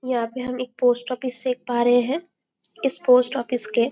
यहाँ पे हम एक पोस्ट ऑफिस देख पा रहे है इस पोस्ट ऑफिस के--